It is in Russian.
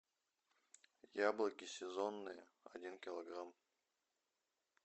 яблоки сезонные один килограмм